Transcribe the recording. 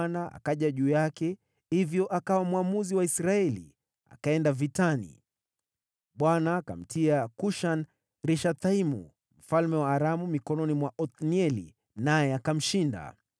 Roho wa Bwana akaja juu yake, hivyo akawa mwamuzi wa Israeli, akaenda vitani. Bwana akamtia Kushan-Rishathaimu mfalme wa Aramu mikononi mwa Othnieli, naye akamshinda.